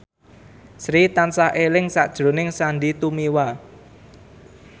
Sri tansah eling sakjroning Sandy Tumiwa